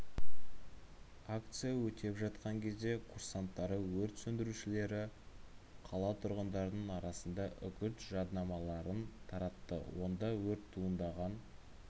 акция өтеп жатқан кезде курсанттары өрт сөндірушілері қала тұрғындарының арасында үгіт жаднамаларын таратты онда өрт туындаған